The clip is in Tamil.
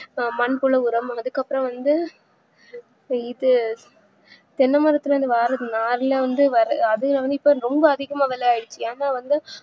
அஹ் மண்புழு உரம் அதுக்குஅப்றம் வந்து அஹ் இது தென்னமரத்துல இருந்து வர நார்ல இருந்து வர அது வந்துட்டு ரொம்ப அதிகமான விலைஆய்டுச்சு என்ன வந்து